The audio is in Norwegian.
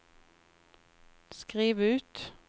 skriv ut